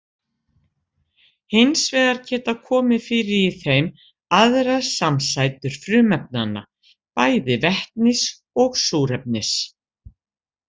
Hins vegar geta komið fyrir í þeim aðrar samsætur frumefnanna, bæði vetnis og súrefnis.